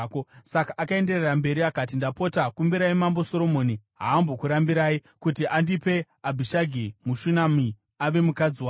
Saka akaenderera mberi akati, “Ndapota, kumbirai Mambo Soromoni, haambokurambirai, kuti andipe Abhishagi muShunami, ave mukadzi wangu.”